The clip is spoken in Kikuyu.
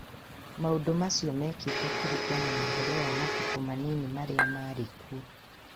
Maũndũ macio, mekĩtwo kũringana na ũhoro wa mabuku manini marĩa marĩ kuo.